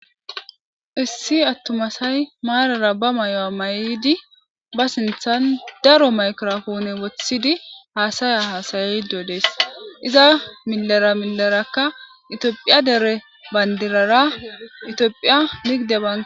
issi attuma asay maarara ba mayo7a may7di ba sinthan daro maykrofone woththidi haasaya hasaydodees iza milera milerakka itiophiya dere bayndirara itiophiya ligide ban